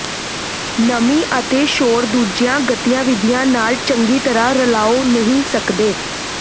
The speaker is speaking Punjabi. ਨਮੀ ਅਤੇ ਸ਼ੋਰ ਦੂਜੀਆਂ ਗਤੀਵਿਧੀਆਂ ਨਾਲ ਚੰਗੀ ਤਰ੍ਹਾਂ ਰਲਾਉ ਨਹੀਂ ਕਰਦੇ